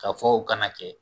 K'a fɔ o kana kɛ